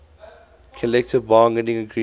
collective bargaining agreement